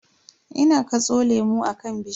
Ina katso lemu akan bishiya.